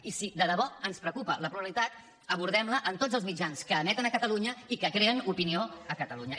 i si de debò ens preocupa la pluralitat abordem la en tots els mitjans que emeten a catalunya i que creen opinió a catalunya